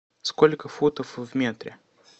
сколько футов в метре